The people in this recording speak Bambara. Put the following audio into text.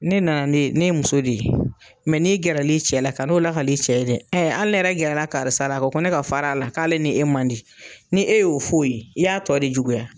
Ne nana ne ye muso de ye n'i gɛrɛ l'i cɛ la ka n'o lakal'i cɛ ye dɛ ali ne yɛrɛ gɛrɛla karisa la a ko ko ne ka fara a la k'ale ni e man di ni e y'o f'o ye i y'a tɔ de juguya.